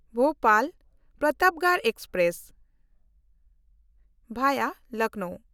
ᱵᱷᱳᱯᱟᱞ–ᱯᱨᱚᱛᱟᱯᱜᱚᱲ express (ᱵᱷᱟᱭᱟ Lucknow)